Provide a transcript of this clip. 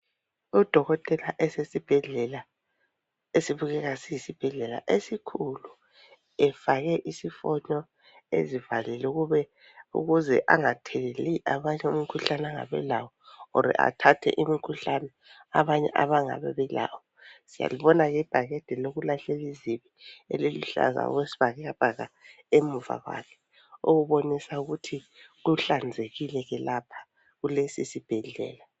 Odokotela esesibhedlela esibukeka siyisibhedlela esikhulu efake isifonyo ezivalile ukuze angatheleli abanye angabe elawo or athathe imkhuhlane abanye abangabe belawo. Siyalibona ke ibhakede lokulahlela izibi eliluhlaza okwesibhakabhaka muva kwakhe okubonisa ukuthi kuhlanzekile ke lapha kulesisibhedlela.